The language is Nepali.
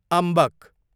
अम्बक